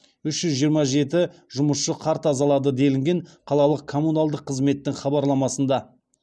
үш жүз жиырма жеті жұмысшы қар тазалады делінген қалалық коммуналдық қызметтің хабарламасында